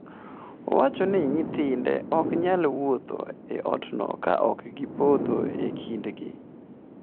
Owacho ni nyithinde ok nyal wuotho e otno ka ok gipodho e kindgi.